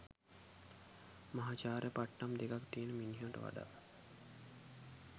මහාචාර්ය පට්ටම් දෙකක් තියෙන මිනිහට වඩා